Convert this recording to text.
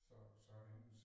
Så så hendes